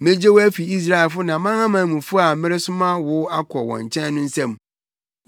Megye wo afi Israelfo ne amanamanmufo a wɔresoma wo akɔ wɔn nkyɛn no nsam.